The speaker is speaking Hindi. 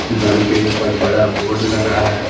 घर के ऊपर बड़ा बोर्ड लगा है।